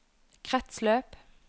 kretsløp